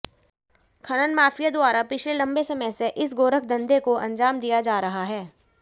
खनन माफिया द्वारा पिछले लंबे समय से इस गोरखधंधे को अंजाम दिया जा रहा है